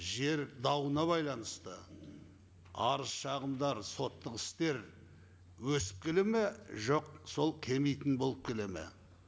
жер дауына байланысты арыз шағымдар соттық істер өсіп келеді ме жоқ сол келмейтін болып келеді ме